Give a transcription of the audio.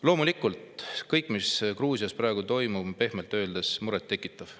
Loomulikult on kõik, mis Gruusias praegu toimub, pehmelt öeldes muret tekitav.